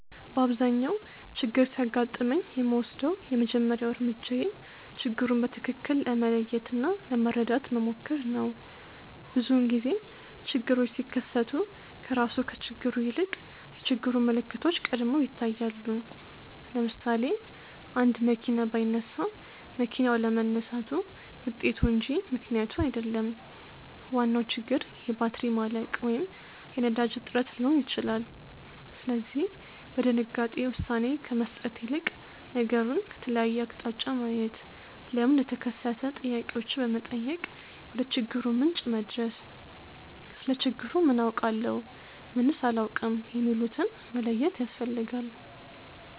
በአብዛኛው ችግር ሲያጋጥመኝ የምወስደው የመጀመሪያው እርምጃዬ ችግሩን በትክክል ለመለየት እና ለመረዳት መሞከር ነው። ብዙውን ጊዜ ችግሮች ሲከሰቱ ከራሱ ከችግሩ ይልቅ የችግሩ ምልክቶች ቀድመው ይታያሉ። ለምሳሌ፣ አንድ መኪና ባይነሳ መኪናው አለመነሳቱ ውጤቱ እንጂ ምክንያቱ አይደለም፤ ዋናው ችግር የባትሪ ማለቅ ወይም የነዳጅ እጥረት ሊሆን ይችላል። ስለዚህ በድንጋጤ ውሳኔ ከመስጠት ይልቅ ነገሩን ከተለያየ አቅጣጫ ማየት፣ ለምን እንደተከሰተ ጥያቄዎችን በመጠየቅ ወደችግሩ ምንጭ መድረስ፣ ስለ ችግሩ ምን አውቃለሁ? ምንስ አላውቅም? የሚሉትን መለየት ያስፈልጋል።